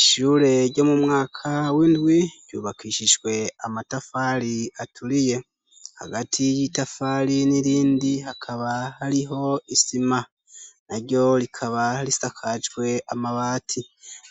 ishure ryo mu mwaka windwy ryubakishijwe amatafali aturiye hagati y'itafali n'irindi hakaba hariho isima na ryo rikaba risakajwe amabati